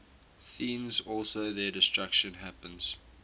thence also their destruction happens